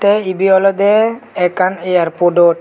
tey ebey olodey ekkan airpodot.